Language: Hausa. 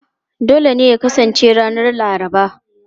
A'a, dole ne ya kasance ranar Laraba.